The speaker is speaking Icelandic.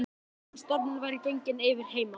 Ég var að vona að stormurinn væri genginn yfir heima.